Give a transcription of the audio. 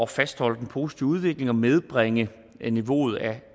fastholde den positive udvikling og nedbringe niveauet af